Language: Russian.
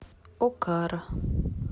окара